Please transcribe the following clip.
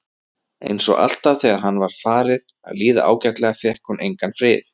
Einsog alltaf þegar henni var farið að líða ágætlega fékk hún engan frið.